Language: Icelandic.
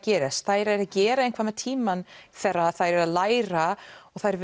gerðist þær eru að gera eitthvað með tímann þegar þær eru að læra og þær